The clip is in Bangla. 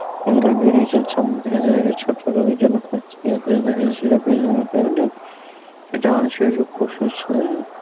দেখা যায় যে রোগের জন্য খাচ্ছি সেটা আমাদের শরীরের